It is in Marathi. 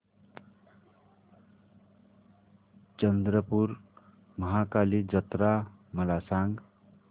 चंद्रपूर महाकाली जत्रा मला सांग